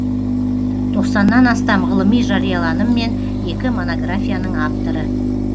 тоқсаннан астам ғылыми жарияланым мен екі монографияның авторы